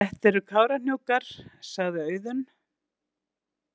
Þetta eru Kárahnjúkar, sagði Auðunn.